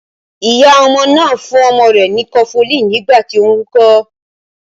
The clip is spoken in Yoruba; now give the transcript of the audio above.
Iya ọmọ náà fún ọmọ rẹ ni kọfulin nígbà tí ó ń wúkọ́